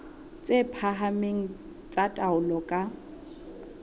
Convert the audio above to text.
tse phahameng tsa taolo ka